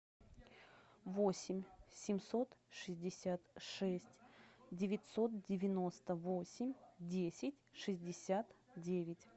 восемь семьсот шестьдесят шесть девятьсот девяносто восемь десять шестьдесят девять